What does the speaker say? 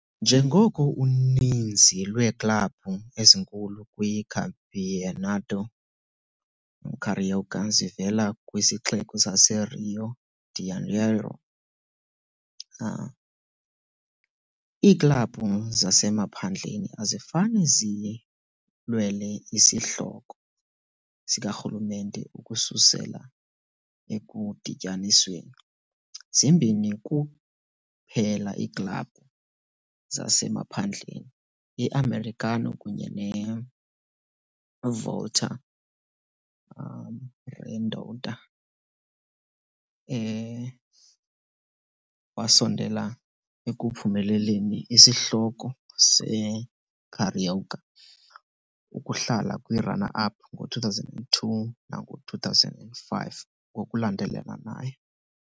Njengoko uninzi lweeklabhu ezinkulu kwiCampeonato Carioca zivela kwisixeko saseRio de Janeiro, iiklabhu zasemaphandleni azifane zilwele isihloko sikarhulumente ukususela ekudityanisweni, zimbini kuphela iiklabhu zasemaphandleni, i-Americano kunye neVolta Redonda, wasondela ekuphumeleleni isihloko seCarioca, ukuhlala kwi-runner-up ngo-2002 nango-2005 ngokulandelanayo.